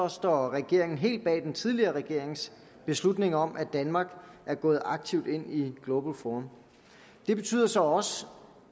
står regeringen helt bag den tidligere regerings beslutning om at danmark er gået aktivt ind i global forum det betyder så også